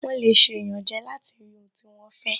Wọ́n lè ṣe ìyànjẹ láti rí ohun tí wọ́n fẹ́